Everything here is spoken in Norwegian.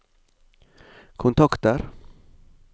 kontakter